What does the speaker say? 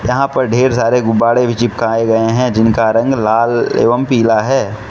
यहां पर ढेर सारे गुब्बारे भी चिपकाए गए हैं जिनका रंग लाल एवं पीला है।